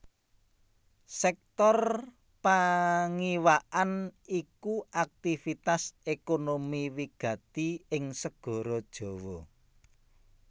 Sèktor pangiwakan iku aktivitas ékonomi wigati ing Segara Jawa